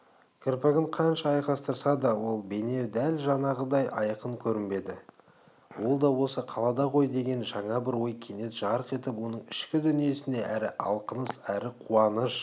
кірпігін қанша айқастырса да ол бейне дәл жаңағыдай айқын көрінбеді ол да осы қалада ғой деген жаңа бір ой кенет жарқ етіп оның ішкі дүниесіне әрі алқыныс әрі қуаныш